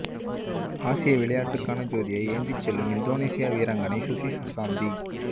ஆசிய விளையாட்டுக்கான ஜோதியை ஏந்தி செல்லும் இந்தோனேசிய வீராங்கனை சுசி சுசாந்தி